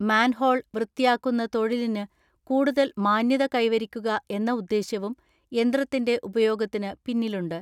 Manhole വൃത്തിയാക്കുന്ന തൊഴിലിന് കൂടുതൽ മാന്യത കൈവരിക്കുക എന്ന ഉദ്ദേശ്യവും യന്ത്രത്തിന്റെ ഉപയോഗത്തിന് പിന്നിലുണ്ട്.